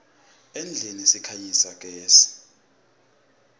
etindlini sikhanyisa gezi